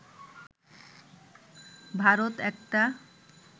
ভারত একটা